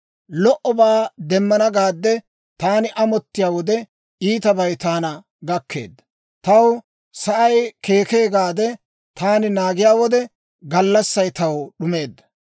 Lo"obaa demmana gaade taani amottiyaa wode, iitabay taana gakkeedda. Taw sa'ay keekee gaade taani naagiyaa wode, gallassay taw d'umeedda.